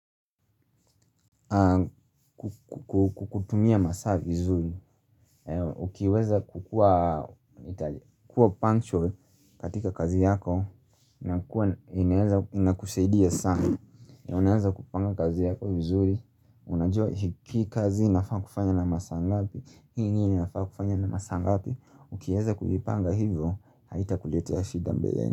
Kwa kutumia masaa vizuri, ukiweza kukua punctual katika kazi yako, inakusaidia sana. Unaeza kupanga kazi yako vizuri, unajua hii kazi inafaa kufanywa na masaa ngapi, Hii ni nini unafaa kufanya na masaa ngapi, ukiweza kujipanga hivyo, haitakuletea shida mbeleni.